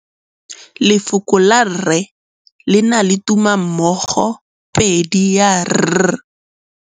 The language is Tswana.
Lefoko la rre, le na le tumammogôpedi ya, r.